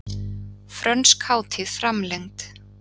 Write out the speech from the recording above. Frönsk hátíð framlengd